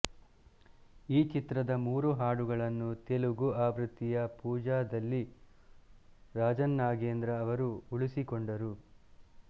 ಈ ಚಿತ್ರದ ಮೂರು ಹಾಡುಗಳನ್ನು ತೆಲುಗು ಆವೃತ್ತಿಯ ಪೂಜಾದಲ್ಲಿ ರಾಜನ್ನಾಗೇಂದ್ರ ಅವರು ಉಳಿಸಿಕೊಂಡರು